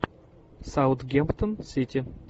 саутгемптон сити